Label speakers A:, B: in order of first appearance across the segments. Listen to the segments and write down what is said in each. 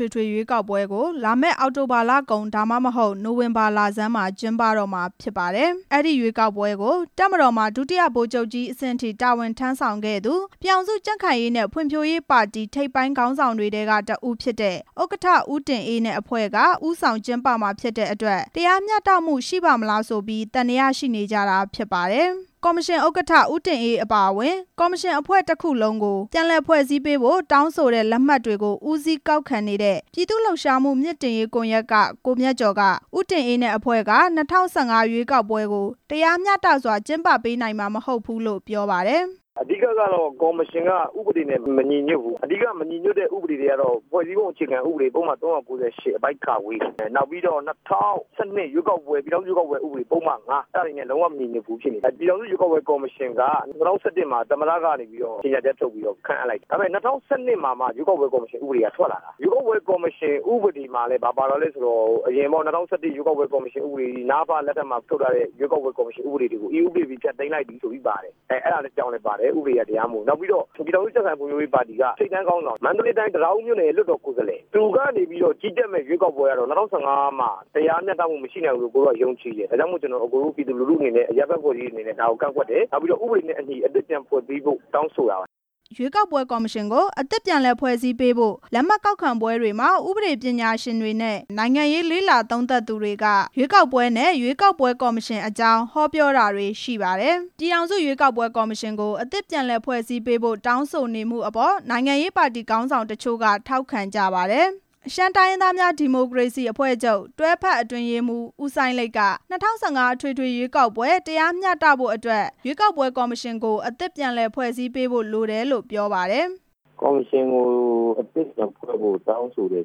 A: ထွေထွေရွေးကောက်ပွဲကို လာမယ့်အောက်တိုဘာလကုန် သို့မဟုတ် နိုဝင်ဘာလဆန်းမှာ ကျင်းပတော့ မှာ ဖြစ်ပါတယ်။ အဲ့ဒီရွေးကောက်ပွဲကို တပ်မတော်မှာ ဒုတိယဗိုလ်ချုပ်ကြီးအဆင့်ထိ တာဝန်ထမ်းဆောင်ခဲ့သူဖြစ်တဲ့ အပြင် ပြည်ထောင်စုကြံ့ခိုင်ရေးနဲ့ ဖွံဖြိုးရေးပါတီထိပ်ပိုင်းခေါင်းဆောင်တွေထဲက တစ်ဦးဖြစ်တဲ့ ဥက္ကဌ ဦးတင်အေးနဲ့ တဖွဲ့လုံးဟာ တပ်မတော်နဲ့ ပြည်ခိုင်ဖြိုးပါတီက ခေါင်းဆောင်တွေ ဖြစ်နေတဲ့အတွက် တရားမျှတမှု ရှိပါ့မလားဆိုပြီး သံသယရှိနေကြတာ ဖြစ်ပါတယ်။ ကော်မရှင် ဥက္ကဌ ဦးတင်အေး အပါအဝင် ကော်မရှင်အဖွဲ့တစ်ခုလုံးကို ပြန်လည်ဖွဲ့စည်းပေးဖို့ တောင်းဆိုတဲ့ လက်မှတ်တွေကို ဦးစီးကောက်ခံသူ ပြည်သူ့လှုပ်ရှားမှုမြှင့်တင်ရေးကွန်ရက်က ကိုမြတ်ကျော်က ဦးတင်အေး နဲ့အဖွဲ့က ၂ဝ၁၅ ရွေးကောက်ပွဲကို တရားမျှတစွာ ကျင်းပပေးနိုင်မှာ မဟုတ်ဘူးလို့ ပြောပါတယ်။ အဓိက
B: ကတော့ ကော်မရှင်က ဥပဒေနဲ့မညီညွတ်ဘူး၊ အဓိကမညီညွတ်တဲ့ ဥပဒေတွေ ကတော့ ဖွဲ့စည်းပုံအခြေခံဥပဒေ ပုဒ်မ ၃၉၈ အပိုဒ် ၊ နောက်ပြီးတော့ ၂ဝ၁၂ ပြည်ထောင်စုရွေးကောက်ပွဲ ဥပဒေ ပုဒ်မ ၅ အဲ့ဒါတွေနဲ့ လုံးဝမညီညွတ်ဘူးဖြစ်နေတယ်၊ ပြည်ထောင်စုရွေးကောက်ပွဲကော်မရှင်က ၂ဝ၁၁ မှာ သမ္မတ ကနေပြီးတော့ ကြေညာချက်ထုတ်ပြီးတော့ ခန့်အပ်လိုက်တယ်၊ ဒါပေမယ့် ၂ဝ၁၂ မှာမှ ရွေးကောက်ပွဲကော်မရှင် ဥပဒေ ဆိုတာထွက်လာတာ၊ ရွေးကောက်ပွဲကော်မရှင်ဥပဒေမှာလည်း ဘာပါလဲဆိုတော့ အရင်ပေါ့ ၂ဝ၁၁ ကော် မရှင်ဥပဒေ နအဖ လက်ထက်မှာထုတ်ထားတဲ့ ရွေးကောက်ပွဲကော်မရှင်ဥပဒေတွေကို ဒီဥပဒေသည်ဖျက်သိမ်း လိုက်ပြီ ဆိုပြီးပါတယ်၊ အဲ့ဒါကြောင့်လည်းပါတယ် ဥပဒေကတရားမဝင်ဘူး၊ နောက်ပြီးတော့ ပြည်ထောင်စု ကြံ့ခိုင်ရေးနဲ့ ဖွံ့ဖြိုရေးပါတီက ထိပ်တန်းခေါင်းဆောင်၊ မန္တလေးတိုင်း တံတားဦးမြို့နယ်ရဲ့ လွှတ်တော်ကိုယ်စား လှယ်၊ သူကနေပြီးတော့ ကြီးကြပ်မယ့်ရွေးကောက်ပွဲက ၂ဝ၁၅ မှာတရားမျှတမှုမရှိနိုင်ဘူးလို့ ကျနော်ကယုံကြည် တယ်၊ ဒါကြောင့်မို့လို့ ကျနော်တို့ ပြည်သူတစ်ဦးအနေနဲ့ အရပ်ဖက်အဖွဲ့အစည်းအနေနဲ့ ဒါကိုကန့်ကွက်တယ် ၊ နောက်ပြီးတော့ ဥပဒေနဲ့အညီ အသစ်ပြန်ဖွဲ့ပေးဖို့ တောင်းဆိုတာပါ။
A: အဲ့ဒီလိုလက်မှတ်ကောက်ခံပွဲတွေမှာ ဥပဒေပညာရှင်တွေနဲ့ နိုင်ငံရေးလေ့လာသူတွေက ရွေးကောက်ပွဲ နဲ့ ရွေးကောက်ပွဲကော်မရှင်တွေအကြောင်း ဟောပြောမှုတွေလည်း ပါဝင်ပါတယ်။ ပြည်ထောင်စုရွေးကောက်ပွဲကော်မရှင်ကို အသစ်ပြန်လည်ဖွဲ့စည်းပေးဖို့ တောင်းဆိုမှုအပေါ် နိုင်ငံရေး ပါတီခေါင်းဆောင်တချို့က ထောက်ခံကြပါတယ်။ ရှမ်းတိုင်းရင်းသားများ ဒီမိုကရေစီအဖွဲ့ချုပ် တွဲဖက်အတွင်းရေးမှူး ဦးစိုင်းလိတ်က ၂ဝ၁၅ ရွေးကောက်ပွဲ တရားမျှတဖို့အတွက် ရွေးကောက်ပွဲကော်မရှင်ကို ပြန်လည်ဖွဲ့စည်းသင့်တယ်လို့ ပြောပါတယ်
C: ။ ကော်မရှင်ကို အသစ်ပြန်ဖွဲ့ပေးဖို့ တောင်းဆိုတယ်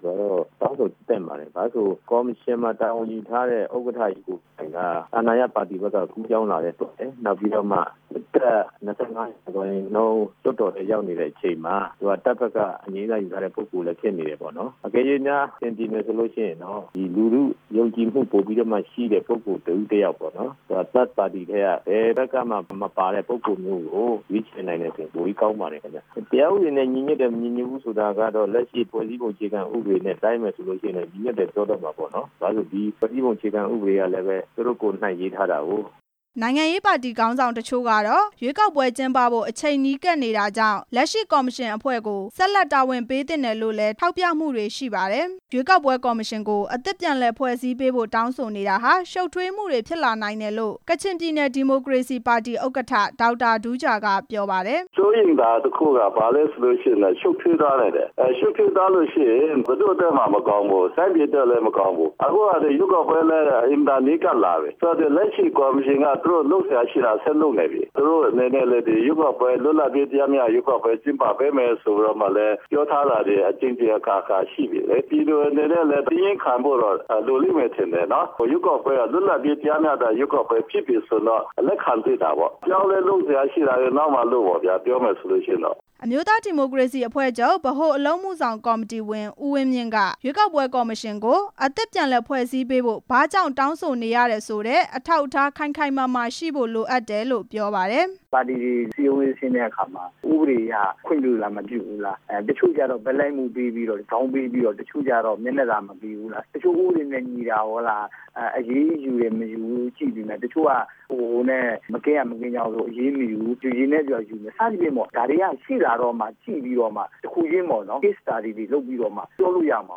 C: ဆိုတာ တောင်းဆိုသင့်ပါတယ်၊ ဘာဖြစ်လို့လဲဆိုတော့ ကော်မရှင်မှာ တာဝန်ယူထားတဲ့ ဥက္ကဌကြီးကိုယ်တိုင်က အာဏာရပါတီဘက်က ကူးပြောင်းလာတယ်ပေါ့လေ၊ နောက်ပြီးတော့မှ ၂၅ ရာခိုင်နှုန်း လွှတ်တော်ထဲရောက်နေတဲ့အချိန်မှာ သူက တပ်ဘက်ကအငြိမ်းစားယူထားတဲ့ ပုဂ္ဂိုလ်လည်းဖြစ်နေတယ်ပေါ့နော်၊ တကယ်လို့များ အဆင်ပြေမယ်ဆိုလို့ ရှိရင်တော့ လူထုယုံကြည်မှု ပိုပြီးတော့မှရှိတဲ့ ပုဂ္ဂိုလ် တစ်ဦးတစ်ယောက်ပေါ့နော်၊ ပါတီဝင်မဟုတ်တဲ့ ဘယ်ဘက်ကမှမပါတဲ့ ပုဂ္ဂိုလ်မျိုးကို ရွေးချက်နိုင်တယ်ဆိုရင် ပိုပြီးကောင်းပါတယ်ခင်ဗျ၊ တရားဥပဒေနဲ့ ညီညွတ်တယ်၊ မညီညွတ်ဘူးဆိုတာကတော့ လက်ရှိဖွဲ့စည်းပုံ အခြေခံဥပဒေနဲ့ တိုင်းမယ်ဆိုလို့ရှိရင် ညီညွတ်တယ်ပြောကြမှာပေါ့နော်၊ ဘာဖြစ်လို့လဲဆိုတော့ ဒီဖွဲ့စည်းပုံအခြေခံဥပဒေကလည်း သူတို့ကိုယ်တိုင်ရေးထားတာကိုး။
A: နိုင်ငံရေးပါတီခေါင်းဆောင်တချို့ကတော့ ရွေးကောက်ပွဲကျင်းပဖို့ အချိန်နီးကပ်နေတာကြောင့် လက်ရှိကော်မရှင်အဖွဲ့ကို ဆက်လက်တာဝန်ပေးသင့်တယ်လို့လည်း ထောက်ပြမှုတွေ ရှိပါတယ်။ ရွေးကောက်ပွဲကော်မရှင်ကို အသစ်ပြန်ဖွဲ့စည်းဖို့တောင်းဆိုနေတာဟာ ရှုပ်ထွေးမှုတွေ ဖြစ်လာနိုင်တယ်လို့ ကချင်ပြည်နယ် ဒီမိုကရေစီပါတီ ဥက္ကဌ ဒေါက်တာတူးဂျာက ပြောပါတယ်။ စိ
C: ုးရိမ်တာတစ်ခုက ဘာလဲဆိုလို့ရှိရင်တော့ ရှုပ်ထွေးသွားနိုင်တယ်၊ ရှုပ်ထွေးသွား လို့ရှိရင် ဘယ်သူ့အတွက်မှမကောင်းဘူး၊ တိုင်းပြည်အတွက်လည်း မကောင်းဘူး၊ အခုက ရွေးကောက်ပွဲလည်း အင်မတန်နီးကပ်လာပြီ၊ လက်ရှိကော်မရှင်က သူတို့ လုပ်စရာရှိတာဆက်လုပ်ပြီ၊ သူတို့ အနေနဲ့လည်း ရွေးကောက် ပွဲလွတ်လပ်ပြီး တရားမျှတတဲ့ရွေးကောက်ပွဲ ကျင်းပပေးမယ်ဆိုပြီးတော့လည်း ပြောထားတာတွေ အကြိမ်ကြိမ် အခါခါရှိပြီလေ၊ ပြည်သူတွေအနနဲ့လည်း သည်းခံဖို့တော့ လိုလိမ့်မယ်နော်၊ ရွေးကောက်ပွဲက လွတ်လပ်ပြီး တရားမျှတတဲ့ ရွေးကောက်ပွဲဖြစ်ပြီဆိုရင်တော့ လက်ခံသင့်တာပေါ့။ အမျိုးသား
A: ဒီမိုကရေစီအဖွဲ့ချုပ် ဗဟိုအလုပ်အမှုဆောင်ကော်မတီဝင် ဦးဝင်းမြင့်က ရွေးကောက်ပွဲကော်မရှင်ကို အသစ်ဖွဲ့စည်းဖို့ ဘာကြောင့်တောင်းဆိုရတယ်ဆိုတာကို အထောက်အထားခိုင်ခိုင်မာမာရှိဖို့ လိုအပ်တယ် လို့ ပြောပါတယ်
B: ။ ပါတီတွေစည်းရုံးရေးဆင်းတဲ့အခါမှာ ဥပဒေအရ ခွင့်ပြလား၊ မပြုဘူးလား၊ တချို့ကျတော့ ဘက်လိုက်မှုပေးပြီးတော့ ဇောင်းပေးပြီးတော့၊ တချို့ကျတော့ မျက်နှာသာမပေးဘူးလား၊ တချို့ ဥပဒေနဲ့ မညီတာကို အရေးယူမယ်၊ မယူဘူးရှိပေမဲ့ တချို့က မကင်းရာမကင်းကြောင်ဆို အရေးမယူဘူး၊ စသည်ဖြင့်ပေါ့ ဒါတွေက ရှိလာတော့မှ ကြည့်ပြီးတော့မှ တစ်ခုချင်းပေါ့နော် ပြောလို့ရမှာ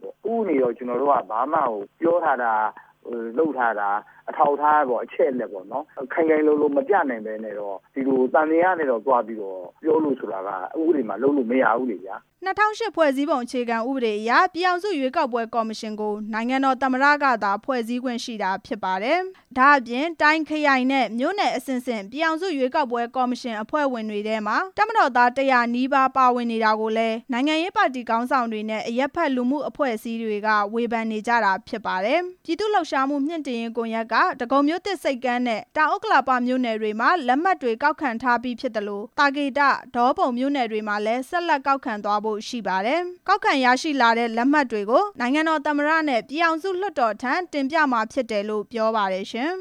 B: ပေါ့၊ ဥပဒေကို ကျနော်တို့က ဘာမှကိုပြောထားတာ၊ လုပ်ထားတာ အထောက်အထားပေါ့ အချက်အလက်ပေါ့၊ ခိုင်ခိုင်လုံလုံ မပြနိုင်ပဲနဲ့ ဒီလိုသံသယနဲ့တော့ သွားပြီးတော့ပြောဖို့ဆိုတာက ဥပဒေမှာလုပ်လို့မရဘူလေဗျာ။
A: ၂ဝဝ၈ ဖွဲ့စည်းပုံအခြေခံဥပဒေအရ ပြည်ထောင်စုရွေးကောက်ပွဲကော်မရှင်ကို နိုင်ငံတော်သမ္မတကသာ ဖွဲ့စည်းခွင့်ရှိတာဖြစ်ပါတယ်။ ဒါ့အပြင် တိုင်း၊ ခရိုင်နဲ့ မြို့နယ်အဆင့်ဆင့် ပြည်ထောင်စုရွေးကောက်ပွဲကော်မရှင် အဖွဲ့ဝင်တွေထဲမှာ တပ်မတော်သား ၁ဝဝ နီးပါး ပါဝင်နေတာကိုလည်း နိုင်ငံရေးပါတီခေါင်းဆောင်တွေနဲ့ အရပ်ဘက် လူမှုအဖွဲ့အစည်းတွေက ဝေဖန်နေကြတာပါ။ ပြည်သူ့လှုပ်ရှားမှုမြှင့်တင်ရေးကွန်ရက်က ဒဂုံမြို့သစ်ဆိပ်ကမ်းနဲ့ တောင်ဥက္ကလာပမြို့နယ်မှာ လက်မှတ်ကောက် ခံထားပြီးဖြစ်ပြီး သာကေတ၊ ဒေါပုံမြို့နယ်တွေမှာလည်း ဆက်လက်ကောက်ခံမှာဖြစ်ပါတယ်။ ကောက်ခံရရှိလာတဲ့ လက်မှတ်တွေကို နိုင်ငံတော်သမ္မတနဲ့ ပြည်ထောင်စုလွှတ်တော်ထံ တင်ပြမှာဖြစ်တယ် လို့ ပြောပါတယ်ရှင်။